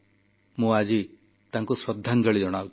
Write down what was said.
ମୁଁ ଆଜି ତାଙ୍କୁ ଶ୍ରଦ୍ଧାଞ୍ଜଳି ଜଣାଉଛି